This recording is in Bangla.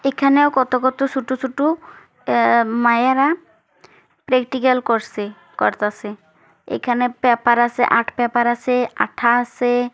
এখানেও কত কত ছোট ছোট এ-এ মায়ারা প্র্যাকটিক্যাল করছে করতাছে এখানে পেপার আছে আর্ট পেপার আছে আঠা আছে।